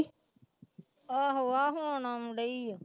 ਆਹੋ ਆਹ ਹੁਣ ਆਉਣ ਡਈ ਆ।